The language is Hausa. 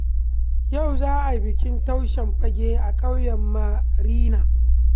Yau za a yi bikin taushen fage a ƙauyen Marina